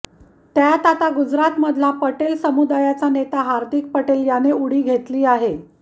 त्यात आता गुजरातमधला पटेल समुदायाचा नेता हार्दिक पटेल याने उडी घेतली आहे